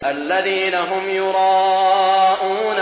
الَّذِينَ هُمْ يُرَاءُونَ